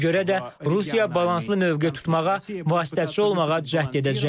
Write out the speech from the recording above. Ona görə də Rusiya balanslı mövqe tutmağa, vasitəçi olmağa cəhd edəcək.